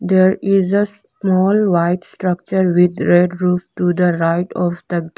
there is a small white structure with red roof to the right of the ga --